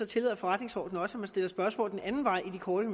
tillader forretningsordenen også at man stiller spørgsmål den anden vej i de korte